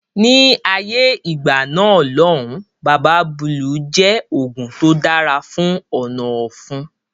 Ni ayé ìgbà náà lòun Baba Búlù jẹ oògùn tó dára fún ọ̀nà ọ̀fun